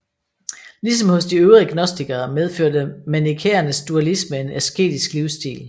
Ligesom hos de øvrige gnostikere medførte manikæernes dualisme en asketisk livsstil